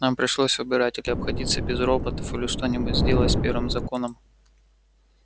нам пришлось выбирать или обходиться без роботов или что-нибудь сделать с первым законом